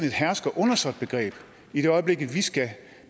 et hersker og undersåt begreb i det øjeblik vi skal